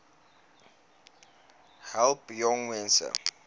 besp help jongmense